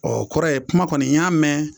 o kɔrɔ ye kuma kɔni n y'a mɛn,